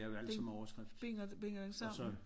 Den binder den sammen